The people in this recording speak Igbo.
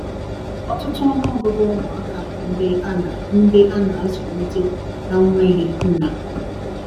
ọtụtụ ọnụ ọgugu ụmụ aka bụ ndi ana ndi ana azulite na nweghi nna